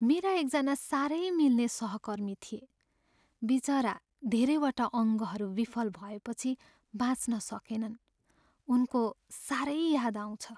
मेरा एकजना साह्रै मिल्ने सहकर्मी थिए, बिचरा धेरैवटा अङ्गहरू विफल भएपछि बाँच्न सकेनन्। उनको साह्रै याद आउँछ।